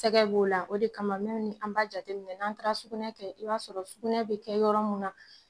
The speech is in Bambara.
Sɛgɛ b'o la, o de kama an b'a jateminɛ n'an taara sugunɛ kɛ i b'a sɔrɔ sugunɛ bi kɛ yɔrɔ mun na